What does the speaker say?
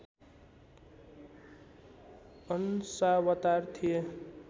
अंशावतार थिए